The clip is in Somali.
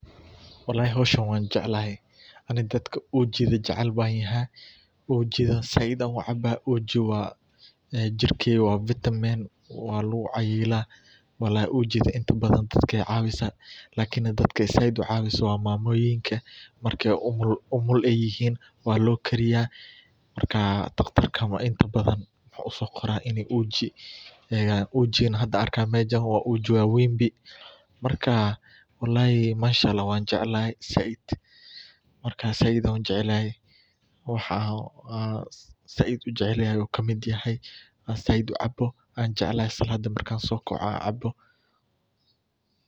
Walhi xoshan wan jacelahay aniga dadka ujada jacel an yaha juda saaid ayan ucaba ujada wa jirka vitaman wa lagu cayilah walhi ujada inta baadan dadka ayay cawisah lkn dadka isticmaloh oo saaid u cawisoh wa mamoyin marka umul yihin wa logariya, marka taqtarka wa inta badan usoqarahb inay uji ujadan hada argayo uji wa waan marka walhi mashallah wan jacelahay saaid marka said ayan ujacelahay, waxan said ujacelyahay u kamid yahay an saaid ucabo an jacelahay saladi marka sogaco oo cabo.